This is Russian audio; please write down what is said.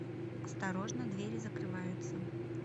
осторожно двери закрываются